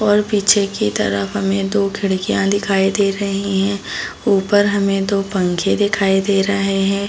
और पीछे की तरफ हमें दो खिड़कियाँ दिखाई दे रहीं हैं। ऊपर हमें दो पंखे दिखाई दे रहे हैं।